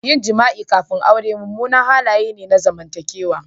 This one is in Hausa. Yin jima'i kafin aure munanan halaye ne na zamantakewa